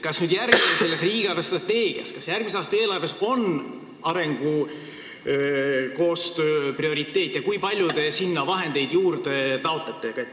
Kas järgmises riigi eelarvestrateegias ja järgmise aasta eelarves on arengukoostöö prioriteete ja kui palju te selleks raha juurde taotlete?